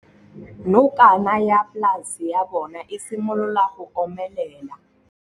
Nokana ya polase ya bona, e simolola go omelela.